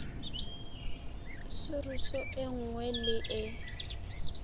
soruse e nngwe le e